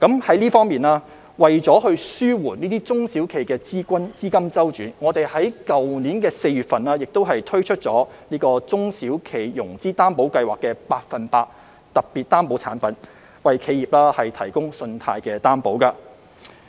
在這方面，為紓緩中小企資金周轉的壓力，我們在去年4月推出了中小企融資擔保計劃的百分百特別擔保產品，為企業提供信貸擔保。